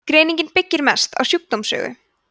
greiningin byggist mest á sjúkdómssögu